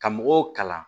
Ka mɔgɔw kalan